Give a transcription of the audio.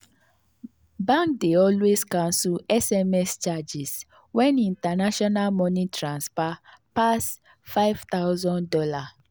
banks dey always cancel sms charges when international money transfer pass five thousand dollars.